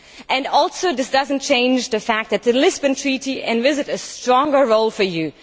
And also this does not change the fact that the Lisbon Treaty envisaged a stronger role for you.